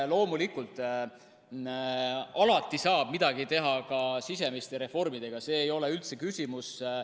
Loomulikult, alati saab midagi teha ka sisemiste reformidega, see ei ole üldse küsimus.